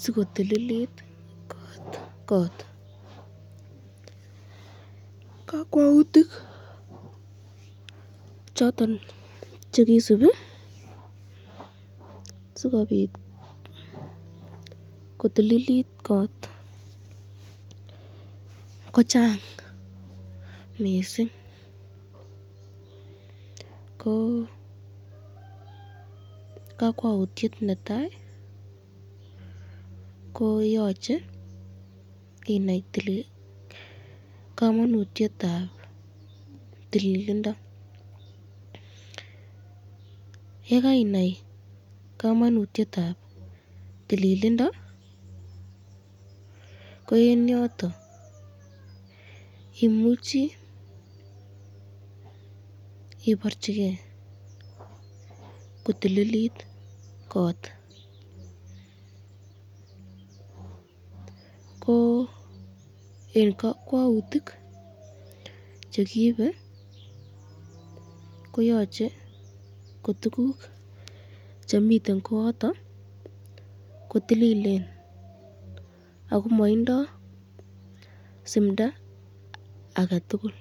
sikotililit kot, kakwautik choton chekisubi sikobit kotililit kot ko chang mising, ko kakwautyet netai koyache inai kamanutyetab tililindo ye